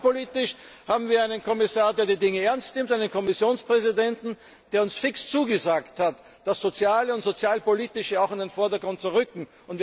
Und sozialpolitisch haben wir einen Kommissar, der die Dinge ernst nimmt, einen Kommissionspräsidenten, der uns fest zugesagt hat, das Soziale und das Sozialpolitische auch in den Vordergrund zu rücken.